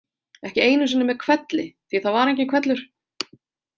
Ekki einu sinni með hvelli því að það var enginn hvellur.